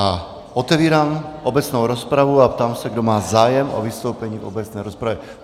A otevírám obecnou rozpravu a ptám se, kdo má zájem o vystoupení v obecné rozpravě.